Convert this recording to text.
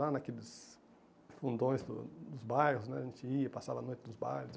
Lá naqueles fundões do dos bairros né, a gente ia, passava a noite nos bailes.